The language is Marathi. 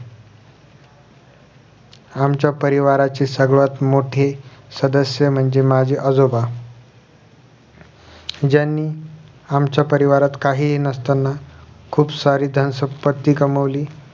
आमच्या परिवाराची सर्वात मोठी सदस्य म्हणजे माझे आजोबा ज्यांनी आमच्या परिवारात काहीही नसताना खुप सारी दान शपट्टी कामवली